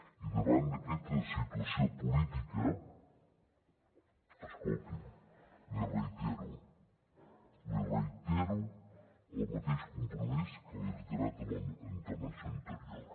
i davant d’aquesta situació política escolti’m li reitero li reitero el mateix compromís que li he reiterat en la meva intervenció anterior